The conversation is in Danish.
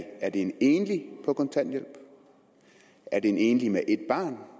er det en enlig på kontanthjælp er det en enlig med ét barn der